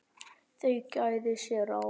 Þau gæða sér á